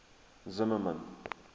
zimmermann